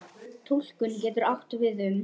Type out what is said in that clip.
Túlkun getur átt við um